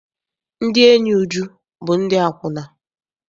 Ndị enyi Uju bụ ndị akwụna.